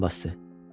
Düyməni basdı.